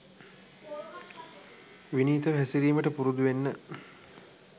විනීතව හැසිරීමට පුරුදුවෙන්න